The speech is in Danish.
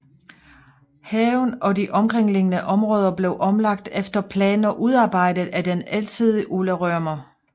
Haven og de omkringliggende områder blev omlagt efter planer udarbejdet af den alsidige Ole Rømer